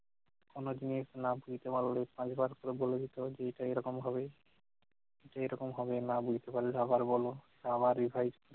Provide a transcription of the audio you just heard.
কোন জিনিস না বুঝতে পারলে দশবার করে বলে দিত যে এটা এরকম হবে যে এরকম হবে, না বুঝলে আবার বল, আবার revise